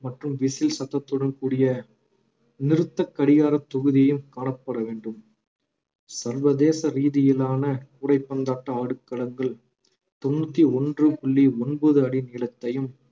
மற்றும் விசில் சத்தத்துடன் கூடிய நிறுத்தக் கடிகாரத் தொகுதியும் காணப்பட வேண்டும் சர்வதேச ரீதியிலான கூடைப்பந்தாட்ட ஆடுகளங்கள் தொண்ணூத்தி ஒன்று புள்ளி ஒன்பது அடி நீளத்தையும்